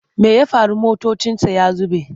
Me ya faru mutuncinsa ya zube?